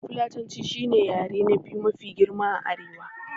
Fulatanci shi ne yare na biyu mafi girma a arewa